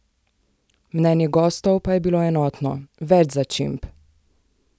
Mnenje gostov pa je bilo enotno: 'Več začimb!